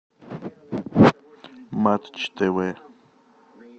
матч тв